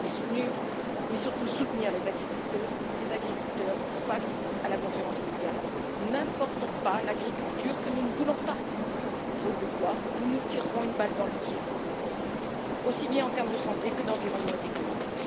Il faut surtout soutenir les agriculteurs face à la concurrence mondiale n'importons pas l'agriculture que nous ne voulons pas, faute de quoi, nous nous tirerons une balle dans le pied, aussi bien en termes de santé que d'environnement et d'économie.